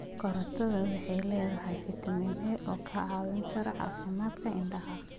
Karootadu waxay leedahay fiitamiin A oo ka caawiya caafimaadka indhaha.